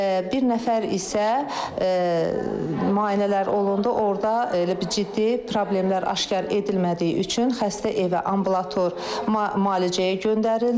Bir nəfər isə müayinələr olundu, orda elə bir ciddi problemlər aşkar edilmədiyi üçün xəstə evə ambulator müalicəyə göndərildi.